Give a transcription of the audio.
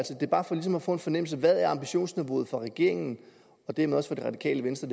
få en fornemmelse af hvad ambitionsniveauet er for regeringen og dermed også for det radikale venstre